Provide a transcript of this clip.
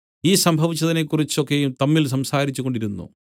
ഈ സംഭവിച്ചതിനെക്കുറിച്ച് ഒക്കെയും തമ്മിൽ സംസാരിച്ചുകൊണ്ടിരുന്നു